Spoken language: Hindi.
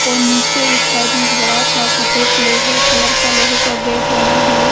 और नीचे एक साइड में एक बड़ा- सा सफेद लोहे कलर का लोहे का गेट बना हैं।